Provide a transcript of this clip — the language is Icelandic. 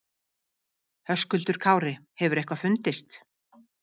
Höskuldur Kári: Hefur eitthvað fundist?